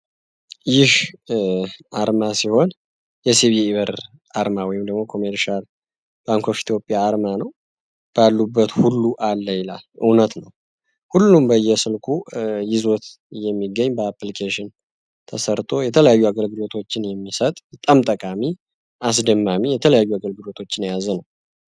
ይህ አርማ ሲሆን፤ የሲቢኢ ብር አርማ ወይም ደግሞ ኮሜርሻል ባንኮ ኦፍ ኢቲዮጵያ አርማ ነው ባሉበት ሁሉ አለ ይላል፤ እውነት ነው ሁሉም በየስልኩ ይዞት የሚገኝ በአፕሊኬሽን ተሰርቶ የተለያዩ አገልግሎቶችን የሚሰጥ በጣም ጠቃሚ አስድማሚ የተለያዩ አገልግሎቶችን ያዘ ነው።